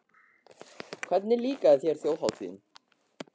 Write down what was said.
Gísli: Hvernig líkaði þér Þjóðhátíðin?